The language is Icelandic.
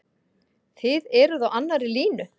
Þið eruð á annarri línu?